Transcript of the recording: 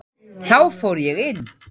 Þá fór ég inn.